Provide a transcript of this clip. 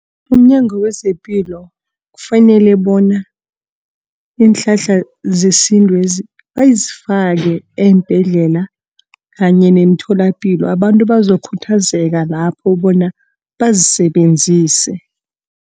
UmNyango wezePilo kufanele bona iinhlahla zesintwezi, bazifake eembhedlela kanye neemtholapilo. Abantu bazokhuthazeka lapho bona bazisebenzise.